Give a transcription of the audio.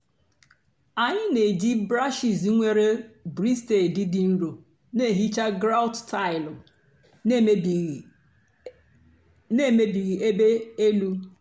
ànyị́ na-èjì bráshiz nwèrè brìstèdị́ dị́ nro na-èhìcha gráùt táịlụ́ na-èmébìghị́ èbé èlù.